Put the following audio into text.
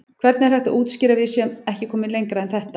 Hvernig er hægt að útskýra að við séum ekki komin lengra en þetta?